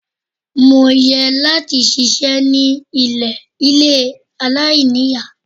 Mo yẹ láti ṣiṣẹ́ ní ilé aláìníìyá.